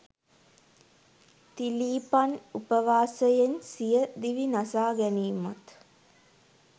තිලීපන් උපවාසයෙන් සිය දිවි නසා ගැනීමත්